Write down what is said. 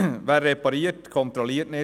Wer repariert, kontrolliert nicht.